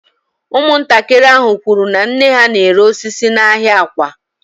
Ụmụntakịrị ahụ kwuru na nne ha na-ere mkpụrụ osisi n’ahịa Awka